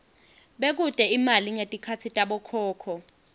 bekute imali ngetikhatsi tabokhokho